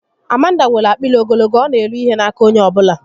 Amanda nwèrè akpịrị ogologo, ọ na eri ihe n'aka onye ọbụla